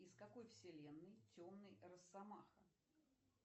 из какой вселенной темный росомаха